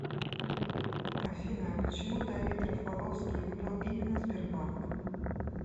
афина почему давид рафаловский выбрал именно сбербанк